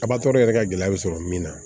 A yɛrɛ ka gɛlɛya bɛ sɔrɔ min na